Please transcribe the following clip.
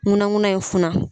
Ŋunanŋunan in funan.